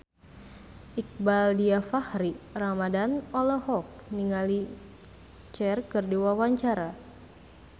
Iqbaal Dhiafakhri Ramadhan olohok ningali Cher keur diwawancara